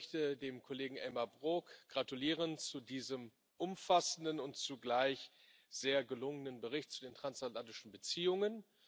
Auch ich möchte dem Kollegen Elmar Brok gratulieren zu diesem umfassenden und zugleich sehr gelungenen Bericht zu den transatlantischen Beziehungen.